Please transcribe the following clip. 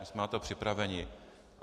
My jsme na to připraveni.